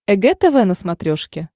эг тв на смотрешке